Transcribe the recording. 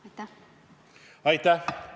Aitäh!